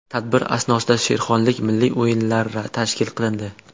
Tadbir asnosida she’rxonlik, milliy o‘yinlar tashkil qilindi.